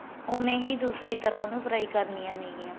ਉਵੇ ਹੀ ਦੂਸਰੀ ਤਰ੍ਹਾਂ ਉਨੂੰ fry ਕਰਨੀਆ ਨੇ ਗਿਆਂ